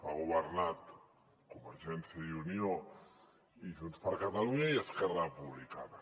han governat convergència i unió i junts per catalunya i esquerra republicana